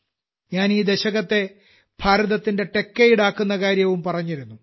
ഞാൻ ഈ ദശകത്തെ ഭാരതത്തിന്റെ ടെക്കേഡ് ആക്കുന്ന കാര്യവും പറഞ്ഞിരുന്നു